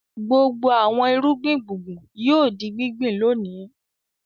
Gbogbo àwọn irúgbìn gbùngbùn yóò di gbíngbìn lónìí.